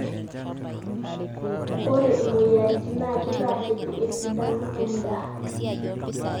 ore imoyiaritin naa kitaa kitii esidano endaa